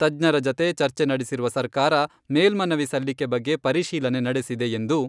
ತಜ್ಞರ ಜತೆ ಚರ್ಚೆ ನಡೆಸಿರುವ ಸರ್ಕಾರ ಮೇಲ್ಮನವಿ ಸಲ್ಲಿಕೆ ಬಗ್ಗೆ ಪರಿಶೀಲನೆ ನಡೆಸಿದೆ ಎಂದು